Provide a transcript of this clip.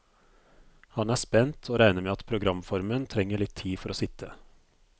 Han er spent, og regner med at programformen trenger litt tid for å sitte.